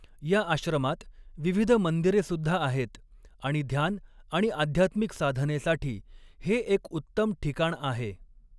या आश्रमात विविध मंदिरेसुद्धा आहेत आणि ध्यान आणि आध्यात्मिक साधनेसाठी हे एक उत्तम ठिकाण आहे.